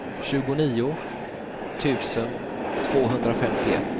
tjugonio tusen tvåhundrafemtioett